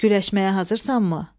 Güləşməyə hazırsanmı?